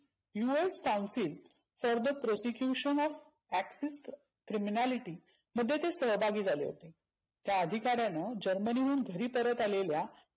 US counsel further prosecution of acts of criminality मध्ये ते सहभागी झाले होते. त्या अधिकार्यानं जर्मनी हून घरी परत आलेल्या